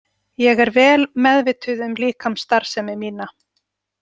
Ég er vel meðvituð um líkamsstarfsemi mína.